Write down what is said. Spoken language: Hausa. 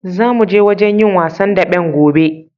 Zamu je wajen yin wasan daɓen gobe.